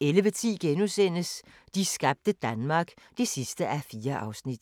11:10: De skabte Danmark (4:4)*